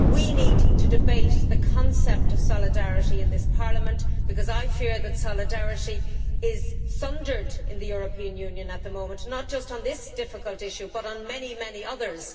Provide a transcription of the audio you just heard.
We need to debate the concept of solidarity in this Parliament because I fear that solidarity is sundered in the European Union at the moment, not just on this difficult issue, but on many others.